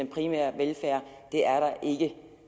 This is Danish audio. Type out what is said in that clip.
primære velfærd det er der ikke